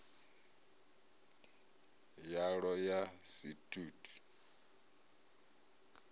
yalwo ya si t ut